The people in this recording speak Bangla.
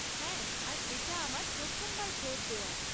হ্যাঁ আর এটা আমার প্রথমবার ভোট দেওয়া।